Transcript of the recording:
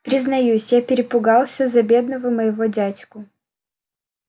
признаюсь я перепугался за бедного моего дядьку